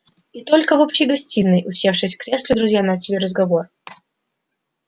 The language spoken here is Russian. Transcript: и только в общей гостиной усевшись в кресла друзья начали разговор